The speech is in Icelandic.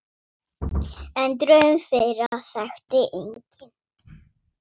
En draum þeirra þekkti enginn.